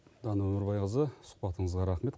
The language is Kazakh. дана өмірбайқызы сұхбатыңызға рахмет